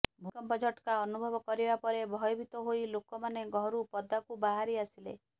ଭୂମିକମ୍ପ ଝଟକା ଅନୁଭବ କରିବା ପରେ ଭୟଭୀତ ହୋଇ ଲୋକମାନେ ଘରୁ ପଦାକୁ ବାହାରି ଆସିଲେ